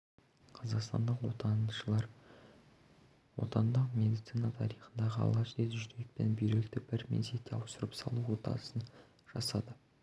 қазақстандық оташылар отандық медицина тарихында алғаш рет жүрек пен бүйректі бір мезетте ауыстырып салу отасын жасады